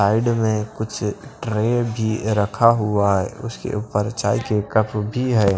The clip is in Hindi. साइड में कुछ ट्रे भी रखा हुआ है उसके ऊपर चाय के कफ भी है।